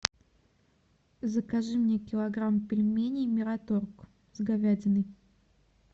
закажи мне килограмм пельменей мираторг с говядиной